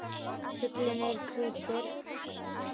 Fuglinn er hvítur.